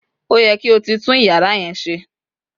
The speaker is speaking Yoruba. oye ki oti tun iyara yen se!